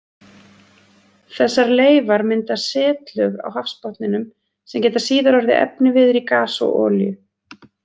Þessar leifar mynda setlög á hafsbotninum sem geta síðar orðið efniviður í gas og olíu.